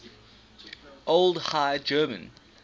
old high german